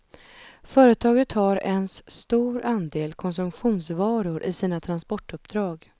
Företaget har ens stor andel konsumtionsvaror i sina transportuppdrag.